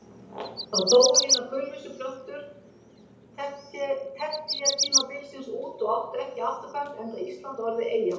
Þá dóu hinar kulvísu plöntur tertíertímabilsins út og áttu ekki afturkvæmt enda Ísland orðið eyja.